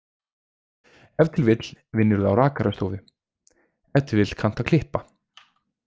Ef til vill vinnurðu á rakarastofu, ef til vill kanntu að klippa.